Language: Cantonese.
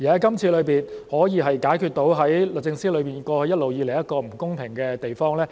今次修例可以解決制度中一直以來一個不公平的地方。